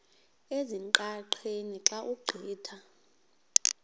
ezingqaqeni xa ugqitha